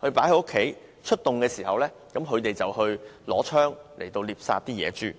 平時把槍放在家中，出動時便持槍獵殺野豬。